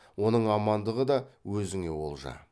оның амандығы да өзіне олжа